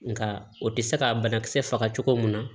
Nka o tɛ se ka banakisɛ faga cogo min na